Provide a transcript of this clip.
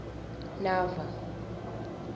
nava